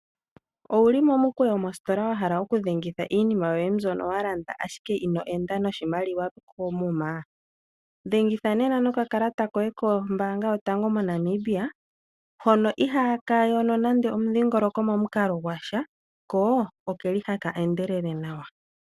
Owuli mo mukweyo mositola wa hala oku dhengitha iinima yoye mbyono wa landa ashike ino enda noshimaliwa koomuma? Dhengitha nena nokakalata koye kombaanga yotango moNamibia, hono ihaa ka yono nande omudhingoloko mo mukalo gwasha , ko oke li haka endelele nawa.